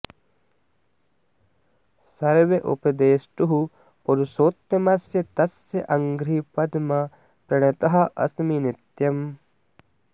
सर्व उपदेष्टुः पुरुषोत्तमस्य तस्य अङ्घ्रि पद्मम् प्रणतः अस्मि नित्यम्